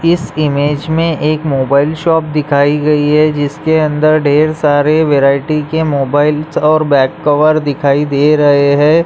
इस इमेज में एक मोबाइल शॉप दिखाई गई है जिसके अंदर ढेर सारे वैरायटी के मोबाइलस फोन और बैक कवर दिखाई दे रहे हैं।